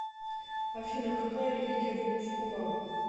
афина какая религия в улус хулагу